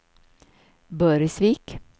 Burgsvik